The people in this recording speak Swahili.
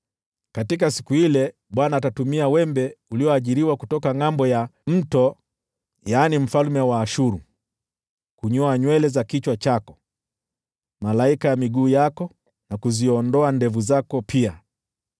Katika siku ile Bwana atatumia wembe ulioajiriwa kutoka ngʼambo ya Mto, yaani mfalme wa Ashuru, kunyoa nywele za kichwa chako na malaika ya miguu yako, na kuziondoa ndevu zako pia.